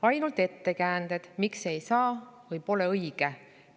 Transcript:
Ainult ettekäänded, miks ei saa või pole õige.